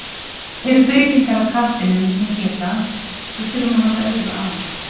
Eru breytingar á katlinum sem geta, við þurfum að hafa auga á?